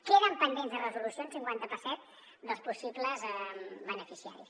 queden pendents de resolució un cinquanta per cent dels possibles beneficiaris